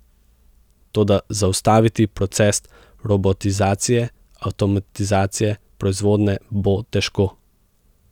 Toda zaustaviti proces robotizacije, avtomatizacije proizvodnje bo težko.